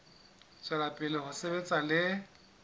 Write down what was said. tswela pele ho sebetsa le